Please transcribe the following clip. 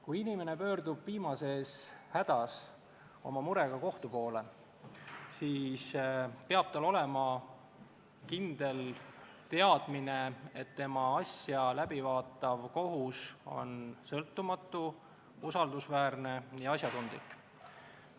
Kui inimene pöördub viimases hädas oma murega kohtu poole, siis peab tal olema kindel teadmine, et tema asja läbi vaatav kohus on sõltumatu, usaldusväärne ja asjatundlik.